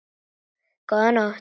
Góða nótt.